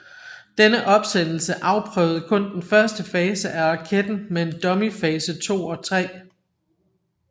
Denne opsendelse afprøvede kun den første fase af raketen med en dummy fase 2 og 3